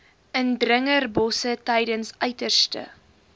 indringerbosse tydens uiterste